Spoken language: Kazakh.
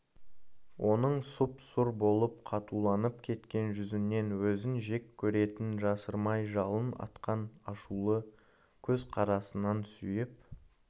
оның сұп-сұр болып қатуланып кеткен жүзінен өзін жек көретінін жасырмай жалын атқан ашулы көз қарасынан сүйіп